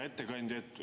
Hea ettekandja!